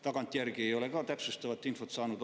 Tagantjärgi ei ole ma samuti täpsustavat infot saanud.